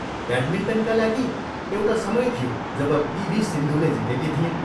ब्याटमिन्टनका लागि एउटा समय थियो जब पी. भी. सिन्धूले जितेकी थिइन्।